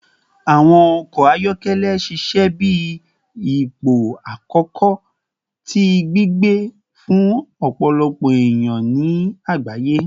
Awọn ọkọ ayọkẹlẹ ṣiṣẹ bi ipo akọkọ ti gbigbe fun ọpọlọpọ eniyan ni agbaye